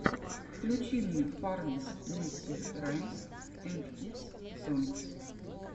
включи мне фармис нерсери раймс энд кидс сонгс